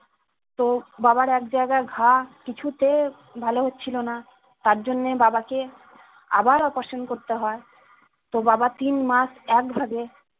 তো বাবার একজায়গায় ঘা কিছুতে ভালো হচ্ছিলোনা তার জন্যে বাবাকে আবার operation করতে হয় তো বাবা তিন মাস একভাবে